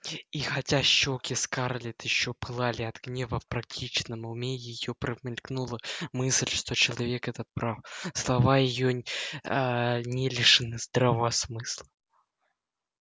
и хотя щеки скарлетт ещё пылали от гнева в практичном уме её промелькнула мысль что человек этот прав слова её аа не лишены здравого смысла